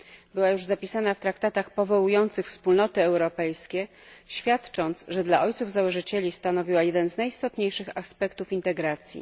Była ona już zapisana w traktatach powołujących Wspólnoty Europejskie, co świadczy o tym, że dla ojców założycieli stanowiła jeden z najistotniejszych aspektów integracji.